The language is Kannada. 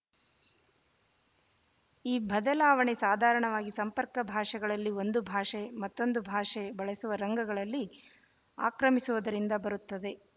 ಈ ಬದಲಾವಣೆ ಸಾಧಾರಣವಾಗಿ ಸಂಪರ್ಕ ಭಾಷೆಗಳಲ್ಲಿ ಒಂದು ಭಾಷೆ ಮತ್ತೊಂದು ಭಾಷೆ ಬಳಸುವ ರಂಗಗಳಲ್ಲಿ ಆಕ್ರಮಿಸುವುದರಿಂದ ಬರುತ್ತದೆ